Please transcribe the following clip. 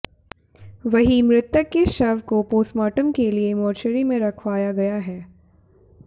वहीं मृतक के शव को पोस्टमार्टम के लिए मोर्चरी में रखवाया गया है